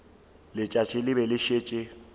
letšatši le be le šetše